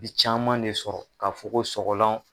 bi caman le sɔrɔ ka fɔ ko sɔgɔlan